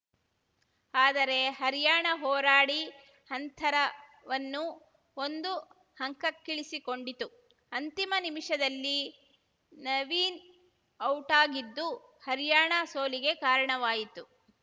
ಆದರೆ ಹರ್ಯಾಣ ಹೋರಾಡಿ ಅಂತರವನ್ನು ಒಂದು ಅಂಕಕ್ಕಿಳಿಸಿಕೊಂಡಿತು ಅಂತಿಮ ನಿಮಿಷದಲ್ಲಿ ನವೀನ್‌ ಔಟಾಗಿದ್ದು ಹರ್ಯಾಣ ಸೋಲಿಗೆ ಕಾರಣವಾಯಿತು